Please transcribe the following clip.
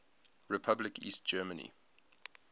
republic east germany